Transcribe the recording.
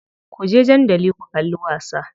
Kuje dandali ku kalli wasa.